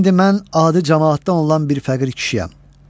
İndi mən adi camaatdan olan bir fəqir kişiyəm.